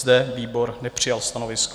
Zde výbor nepřijal stanovisko.